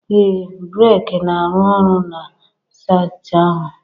ee, brik na-arụ ọrụ na saịtị ahụ